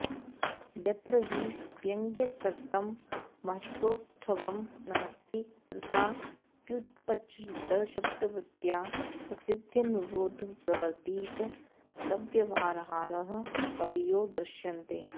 यत्र हि व्यङ्ग्यकृतं महत्सौष्ठवं नास्ति तत्राप्युपचरितशब्दवृत्त्या प्रसिद्ध्यनुरोधप्रवर्तितव्यवहाराः कवयो दृश्यन्ते